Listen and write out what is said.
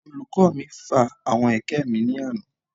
Olùkọ́ mi fa àwọn ẹ̀kẹ́ mi ní àná